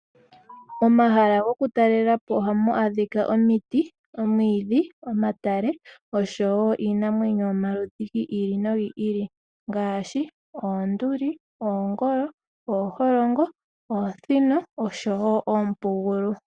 Momahala gokutalela po ohamu adhika omiti, omwiidhi, omatale osho wo iinamwenyo yomaludhi gi ili nogi ili ngaashi: oonduli, oongolo, ooholongo, oosino osho wo oompugulu.